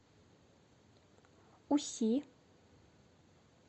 уси